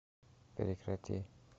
прекрати